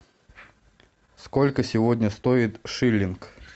сколько сегодня стоит шиллинг